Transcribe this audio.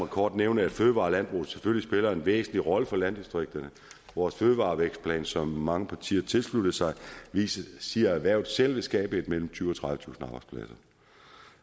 kort nævne at fødevarer og landbrug selvfølgelig spiller en væsentlig rolle for landdistrikterne vores fødevarevækstplan som mange partier tilsluttede sig siger erhvervet selv vil skabe mellem tyvetusind